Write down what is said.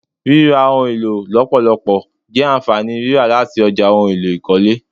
Rírà ohun èlò lọpọlọpọ je ànfàní rírà láti ọjà ohùn èlò ikọle